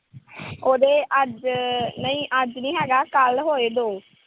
ਉਹਦੇ ਅੱਜ। ਨਈਂ ਅੱਜ ਨੀਂ ਹੈਗਾ, ਕੱਲ੍ਹ ਹੋਏ ਦੋ